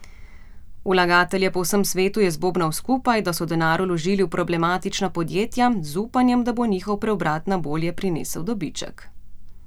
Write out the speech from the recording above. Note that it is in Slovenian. Vlagatelje po vsem svetu je zbobnal skupaj, da so denar vložili v problematična podjetja z upanjem, da bo njihov preobrat na bolje prinesel dobiček.